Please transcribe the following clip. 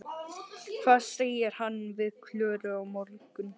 Hvað segir hann við Klöru á morgun?